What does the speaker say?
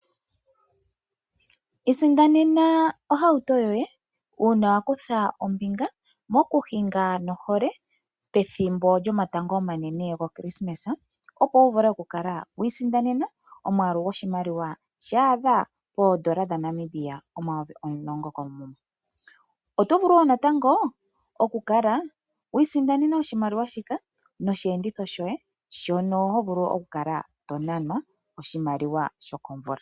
Isindanena ohauto yoye uuna wa kutha ombinga moku hinga nohole pethimbo lyo matango omanene goKrismesa. Opo wu vule oku kala wi isindanena omwaalu gwoshimaliwa sha ahda poondola dhaNamibia omayovi omulongo koomuma. Oto vulu wo natango oku kala wi isindanena oshimaliwa shika noshiyedhitho shoye shono ho vulu oku kala to nanwa a sho komvula.